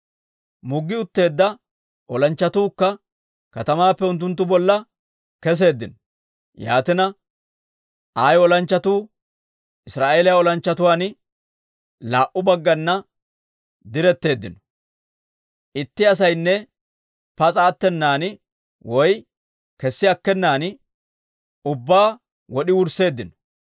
Muggi utteedda olanchchatuukka katamaappe unttunttu bolla keseeddino. Yaatina, Ayi olanchchatuu Israa'eeliyaa olanchchatuwaan laa"u baggana diretteeddino. Itti asaynne pas'a attenan woy kessi akkenan ubbaa wod'i wursseeddino.